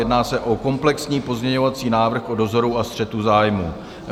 Jedná se o komplexní pozměňovací návrh o dozoru a střetu zájmů.